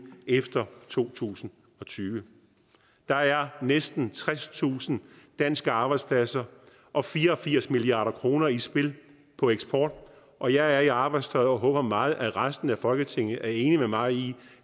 efter to tusind og tyve der er næsten tredstusind danske arbejdspladser og fire og firs milliard kroner i spil på eksport og jeg er i arbejdstøjet og håber meget at resten af folketinget er enig med mig i